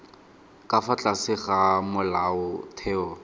ka fa tlase ga molaotheo